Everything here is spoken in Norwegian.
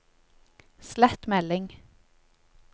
slett melding